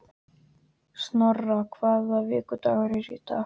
Snorra, hvaða vikudagur er í dag?